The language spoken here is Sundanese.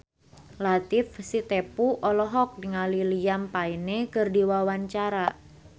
Latief Sitepu olohok ningali Liam Payne keur diwawancara